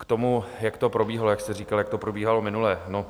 K tomu, jak to probíhalo, jak jste říkal, jak to probíhalo minule.